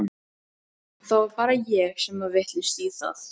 Það var bara ég sem var vitlaus í það.